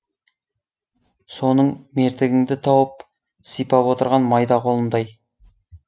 соның мертігіңді тауып сипап отырған майда қолындай